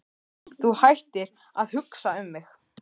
Þú hættir að hugsa um mig.